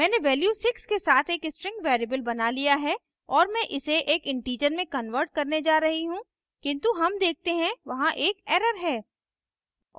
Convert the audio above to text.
मैंने value 6 के साथ एक string variable बना लिया है और मैं इसे एक integer में convert करने जा रही हूँ किन्तु हम देखते हैं वहां एक error है